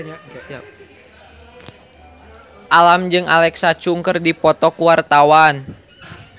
Alam jeung Alexa Chung keur dipoto ku wartawan